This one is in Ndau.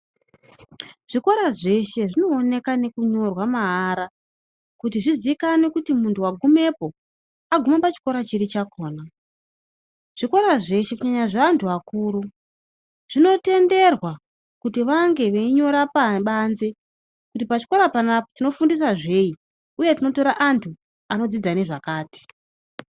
Zvikora zveshe zvinooneka nekunyorwa maara, kuti zvizikanwe kuti munhu wagumepo wagume pachikora chiri chakhona. Zvikora zveshe kunyanya zveantu akuru, zvinotenderwa kuti vange veinyora pabanze kuti pachikora panapa tinofundisa zveyi uye tinotora antu anodzidza nezvakati.